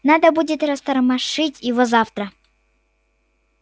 надо будет растормошить его завтра